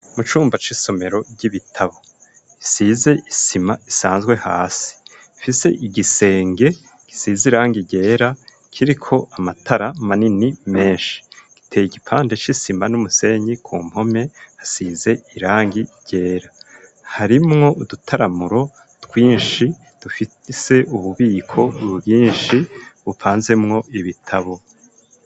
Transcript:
mu cumba c'isomero ry'ibitabo gisize isima isanzwe hasi rifise igisenge gisize irangi ryera kiriko amatara manini menshi giteye igipande c'isima n'umusenyi , ku mpome hasize irangi ryera , harimwo udutaramuro twinshi dufitse ububiko bwinshi bupanzemwo ibitabo.